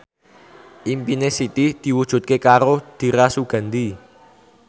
impine Siti diwujudke karo Dira Sugandi